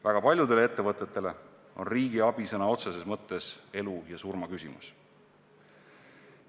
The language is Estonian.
Väga paljudele ettevõtetele on riigi abi sõna otseses mõttes elu ja surma küsimus.